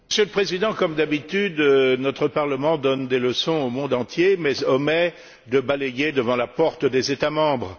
Monsieur le Président, comme d'habitude, notre Parlement donne des leçons au monde entier mais omet de balayer devant la porte des États membres.